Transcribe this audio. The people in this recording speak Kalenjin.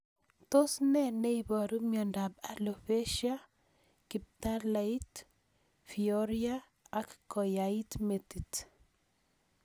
Tos nee neiparu miondop Alopecia, kiptaleit, pyorrhea ak koyait metit